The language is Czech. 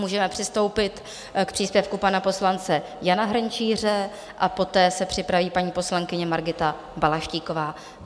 Můžeme přistoupit k příspěvku pana poslance Jana Hrnčíře a poté se připraví paní poslankyně Margita Balaštíková.